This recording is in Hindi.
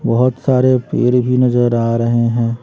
बहोत सारे पेर भी नजर आ रहे हैं।